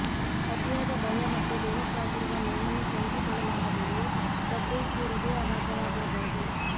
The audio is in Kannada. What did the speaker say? ಅತಿಯಾದ ಭಯ ಮತ್ತು ದೇಹಕ್ಕಾಗಿರುವ ನೋವನ್ನು ಸಹಿಸಿಕೊಳ್ಳಲಾಗದೆಯೂ ತಬ್ರೇಜ್ ಗೆ ಹೃದಯಾಘಾತವಾಗಿರಬಹುದು